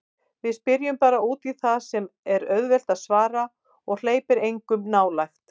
Við spyrjum bara útí það sem er auðvelt að svara og hleypir engum nálægt.